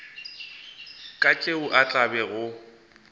ka tšeo a tla bego